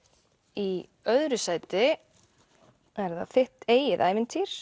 í öðru sæti er það þitt eigið ævintýri